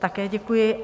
Také děkuji.